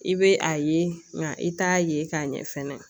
I bɛ a ye nka i t'a ye k'a ɲɛ fɛnɛ